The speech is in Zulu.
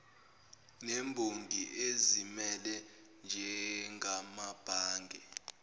nemboni ezimele njengamabhange